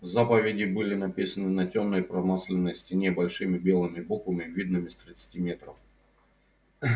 заповеди были написаны на тёмной промасленной стене большими белыми буквами видными с тридцати метров